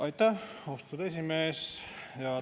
Aitäh, austatud esimees!